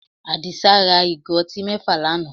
Àdìsá ra ìgò ọtí mẹ́fà lánàá